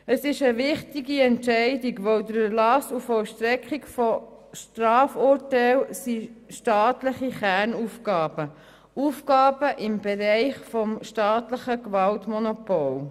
Es ist eine wichtige Entscheidung, denn der Erlass und die Vollstreckung von Strafurteilen sind staatliche Kernaufgaben und Aufgaben im Bereich des staatlichen Gewaltmonopols.